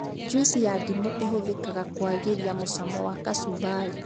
Njuici ya ndimũ ĩhũthĩkaga kũagĩria mũcamo wa kacũmbari